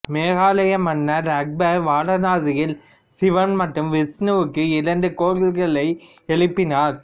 மொகலாய மன்னர் அக்பர் வாரணாசியில் சிவன் மற்றும் விஷ்ணுவிற்கு இரண்டு கோயில்களை எழுப்பினார்